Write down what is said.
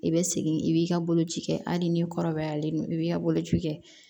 I bɛ segin i b'i ka boloci kɛ hali ni kɔrɔbayalen don i b'i ka boloci kɛ